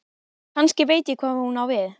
Kannski veit ég hvað hún á við.